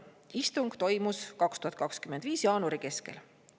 Istung toimus 2025. aasta jaanuari keskel.